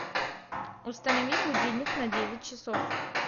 установи будильник на девять часов